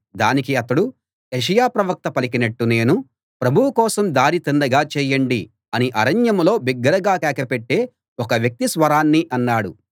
దానికి అతడు యెషయా ప్రవక్త పలికినట్టు నేను ప్రభువు కోసం దారి తిన్నగా చేయండి అని అరణ్యంలో బిగ్గరగా కేక పెట్టే ఒక వ్యక్తి స్వరాన్ని అన్నాడు